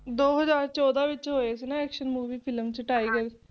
ਦੋ ਹਜਾਰ ਚੋਦਾ ਵਿੱਚ ਹੋਏ ਸੀ ਨਾ Action Movie Film ਚ Tiger